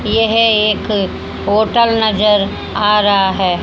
यह एक होटल नजर आ रहा है।